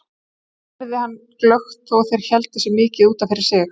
Það heyrði hann glöggt þó þeir héldu sig mikið út af fyrir sig.